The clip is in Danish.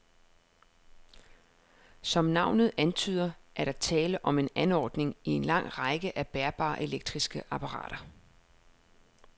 Som navnet antyder, er der tale om en anordning i en lang række af bærbare elektriske apparater.